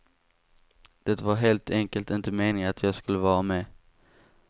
Det var helt enkelt inte meningen att jag skulle vara med.